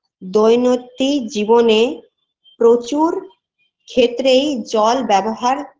দৈনত্যি জীবনে প্রচুর ক্ষেত্রেই জল ব্যবহার